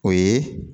O ye